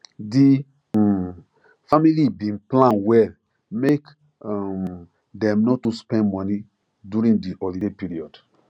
the um family bin plan well make um dem no too spend money during the holiday period